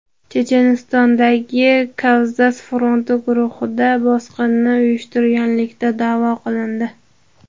Chechenistondagi Kavkaz fronti guruhi bosqinni uyushtirganlikda da’vo qilindi.